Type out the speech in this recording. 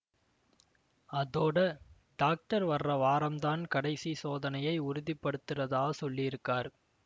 அதோட டாக்டர் வர்ர வாரம்தான் கடைசி சோதனைய உறுதி படுத்திறதா சொல்லியிருக்காரு